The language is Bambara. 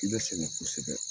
I bɛ sɛgɛ kosɛbɛ.